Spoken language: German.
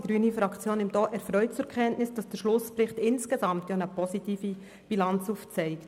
Die grüne Fraktion nimmt ebenfalls erfreut zur Kenntnis, dass der Schlussbericht insgesamt eine positive Bilanz aufzeigt.